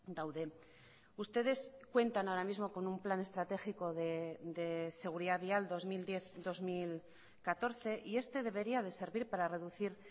daude ustedes cuentan ahora mismo con un plan estratégico de seguridad vial dos mil diez dos mil catorce y este debería de servir para reducir